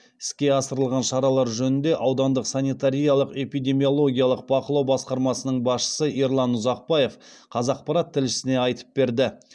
іске асырылған шаралар жөнінде аудандық санитариялық эпидемиологиялық бақылау басқармасының басшысы ерлан ұзақбаев қазақпарат тілшісіне айтып берді